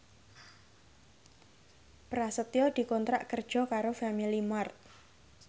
Prasetyo dikontrak kerja karo Family Mart